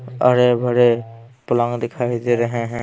हरे भरे फ्लॉवर दिखाई दे रहे है।